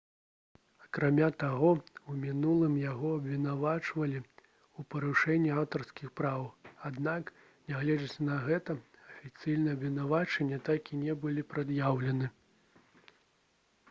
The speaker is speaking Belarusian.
акрамя таго у мінулым яго абвінавачвалі ў парушэнні аўтарскіх правоў аднак нягледзячы на гэта афіцыйныя абвінавачванні так і не былі прад'яўлены